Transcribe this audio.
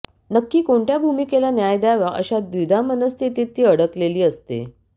नक्की कोणत्या भूमिकेला न्याय द्यावा अशा द्विधा मनःस्थितीत ती अडकलेली असते